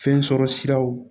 Fɛn sɔrɔ siraw